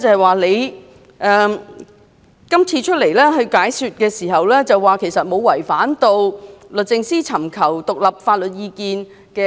換言之，以往律政司確曾就不少個案外聘大律師以提供獨立法律意見。